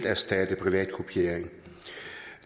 erstattet privat kopiering